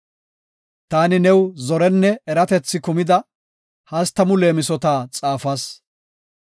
Taani new zorenne eratethi kumida hastamu leemisota xaafas.